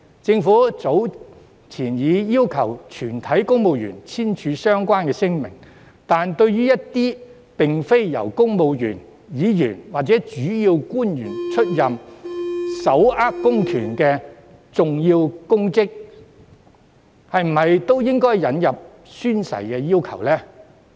政府早前已要求全體公務員簽署相關聲明，但對於一些並非由公務員、議員或主要官員出任而手握公權力的重要公職，是否也應該引入宣誓的要求？